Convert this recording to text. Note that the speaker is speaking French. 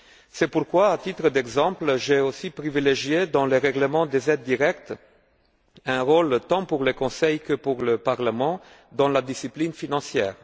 C'est pourquoi, à titre d'exemple, j'ai privilégié, dans le règlement sur les aides directes, un rôle tant pour le Conseil que pour le Parlement dans la discipline financière.